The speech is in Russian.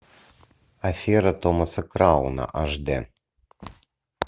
афера томаса крауна аш дэ